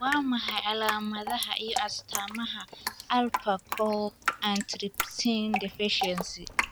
Waa maxay calaamadaha iyo astaamaha Alpha kow antitrypsin deficiency?